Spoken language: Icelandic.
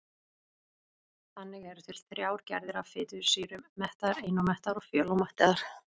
Þannig eru til þrjár gerðir af fitusýrum: mettaðar, einómettaðar og fjölómettaðar.